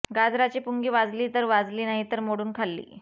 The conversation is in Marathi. गाजराची पुंगी वाजली तर वाजली नाहीतर मोडून खाल्ली